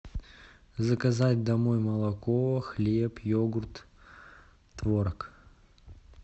заказать домой молоко хлеб йогурт творог